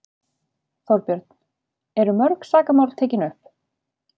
Þorbjörn: Eru mörg sakamál tekin upp?